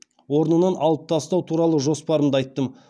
орнынан алып тастау туралы жоспарымды айттым